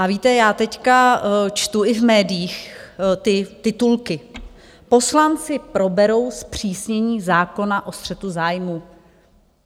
A víte, já teď čtu i v médiích ty titulky: Poslanci proberou zpřísnění zákona o střetu zájmů.